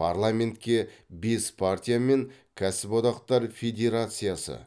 парламентке бес партия мен кәсіподақтар федерациясы